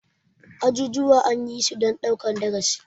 Ajujuwa anyisu dan ɗaukan darasi.